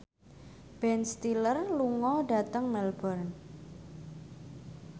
Ben Stiller lunga dhateng Melbourne